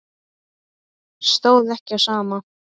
Stóð ekki á sama.